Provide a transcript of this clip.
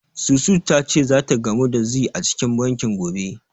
Susu ta ce zata gamu da Zee a cikin banki, gobe.